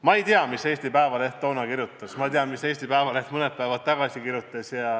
Ma ei tea, mida Eesti Päevaleht toona kirjutas, ma tean, mida Eesti Päevaleht mõned päevad tagasi kirjutas.